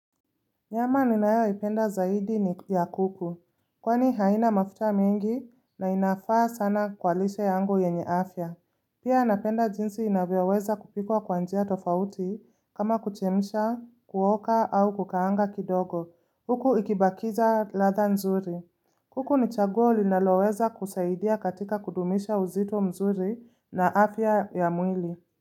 Nyama ninayo ipenda zaidi ni ya kuku. Kwani haina mafuta mingi na inafaa sana kwa lishe yangu yenye afya. Pia napenda jinsi inavyo weza kupikwa kwa njia tofauti kama kuchemsha, kuoka au kukaanga kidogo. Huku ikibakiza ladha nzuri. Kuku ni chaguo linaloweza kusaidia katika kudumisha uzito mzuri na afya ya mwili.